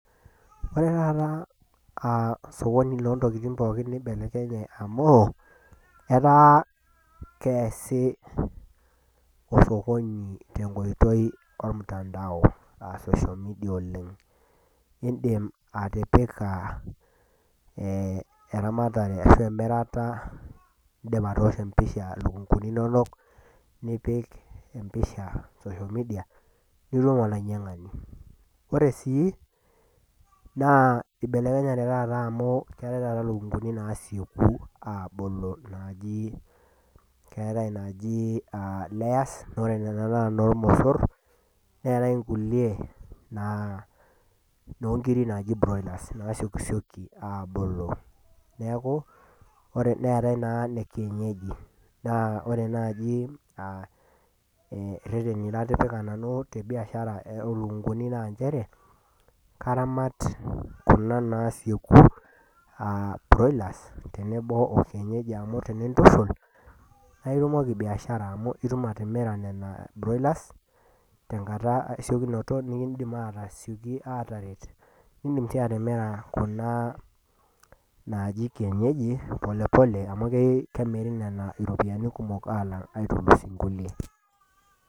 Ore taata aa sokoni oo ntokitin pookin neibelekenye amu, ketaa keasi sokoni tenkoitoi olmutandao, aa social media oleng'. Indim atipika eramatare ashu emirata, indim atoosho empisha ilukung'uni inonok, nipik empisha social media, nitum olainyang'ani. Ore sii naa keibelekenyate taata amu keatai taata ilukung'uni naasieku aabulu naaji. Keatai inaaji Layers, naa ore nena naa inoolmosor, neatai inkulie naa inoonkiri naaji broilers, naasiokisioki aabulu, neaku neatai naa ine kienyeji. Naa ore naaji ireteni natipika nanu te biashara oo ilukung'uni naa nchere, naa karamat kuna naasieku aa broilers tenebo o kienyejji amu tenintushul, naa itumoki biashara amu itumoki atimira nena broilers tenkata esiokinoto, bnekindim atasioki aataret, nekindim sii atimira kuna naaji kienyeji, polepole amu kemiri nena iropiani kumok aitulus inkulie.